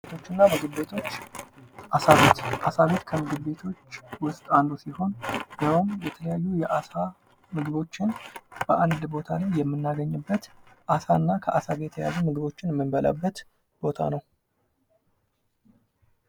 ቡና ቤቶችና ምግብቤቶች አሳ ቤት ከምግብቤቶች ቤቶች ውስጥ አንዱ ሲሆን ይሄውም የተለያዩ የአሳ ምግቦችን በአንድ ቦታ ላይ የምናገኝበት አሳና ከአሳ ጋር የተገናኙ ምግቦችን ምንበላበት ቦታ ነው።